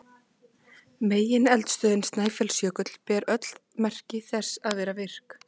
Megineldstöðin Snæfellsjökull ber öll merki þess að vera virk.